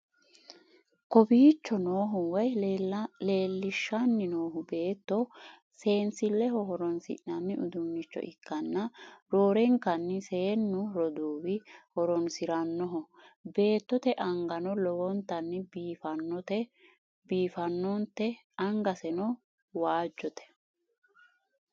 kowiicho noohu woy leellishshanni noohu beetto seensilleho horonsai'nanni uduunnicho ikkanna, roorenkanni seennu roduuwi horonsi'rannoho, beettote angano lowontanni biiffannote, angaseno waajjote.